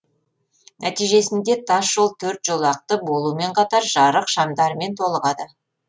нәтижесінде тасжол төрт жолақты болуымен қатар жарық шамдарымен толығады